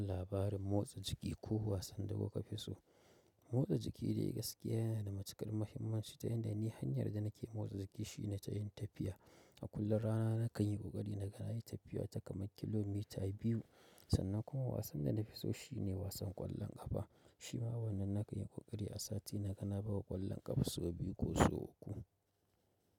Labarin motsa jiki ko wasan da kuka fi so. Motsa jiki dai gaskiya yana da matuƙar muhimmanci ta yanda ni hanyar da nake motsa jiki shine ta yin tafiya. A kullum rana nakan yi ƙoƙaari na ga na yi tafiya ta kamar kilomita biyu sannan kuma wasan da na fi so shine wasan ƙwallon ƙafa. Shi ma wannan nakan yi ƙoƙari a sati naga na bawa ƙwallon ƙafa sau biyu ko so uku.